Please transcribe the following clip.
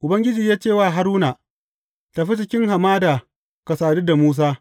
Ubangiji ya ce wa Haruna, Tafi cikin hamada ka sadu da Musa.